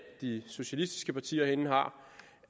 de socialistiske partier herinde har